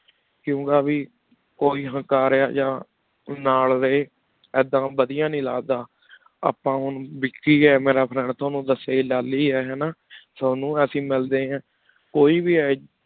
ਕੁੰਕ੍ਯ ਕੋਈ ਹਕਾਰਯ ਯਾ ਨਾਲ ਰਹੀ ਇਦਾਂ ਵਾਦਿਯ ਨਹੀ ਲਗਦਾ ਆਪਾਂ ਹੁਣ ਵਿਕ੍ਕੀ ਆ ਮੇਰਾ friend ਤੁਨੁ ਦਯਾ ਹੇ ਹੈਂ ਗਾ ਲਾਲੀ ਹੈਂ ਨਾ ਤ੍ਵਾਨੁ ਅਸੀਂ ਮਿਲ ਡੀਨ ਆਂ ਕੋਈ ਵ੍ਬੇ ਆਯ